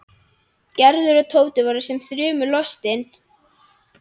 Gerður og Tóti voru sem þrumu lostin.